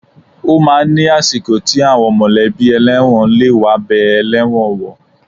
Ó máa ń ni àsìkò tí àwọn mọ̀lẹ́bí ẹlẹ́wọ̀n lè wá bẹẹ ẹlẹ́wọ̀n wò.